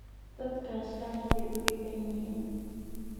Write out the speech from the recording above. Dadkaas aad bay u dhibban yihiin